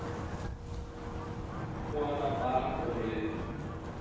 Æðruleysi þessara almúgamanna bar hann ofurliði.